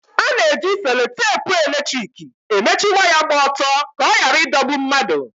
Ana-eji seloteepu eletrik emechi waya gba ọtọ ka ọ ghara ịdọgbu mmadụ.